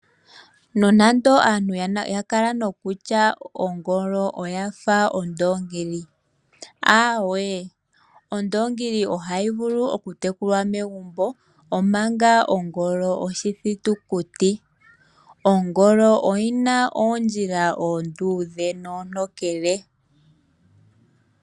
Nonando aantu ya kala nokutya ongolo oyafa ondoongi aawe, Ondoongi ohayi vulu oku tekulwa megumbo omanga ongolo oshitukutuku. Ongolo oyina oondjila oonduudhe noontokele